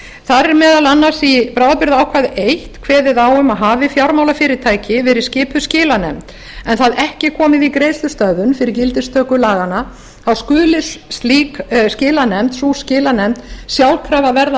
þar er meðal annars í bráðabirgðaákvæði eins kveðið á um að hafi fjármálafyrirtæki verið skipuð skilanefnd er það ekki komið í greiðslustöðvun fyrir gildistöku laganna þá skuli slík skilanefnd sú skilanefnd sjálfkrafa verða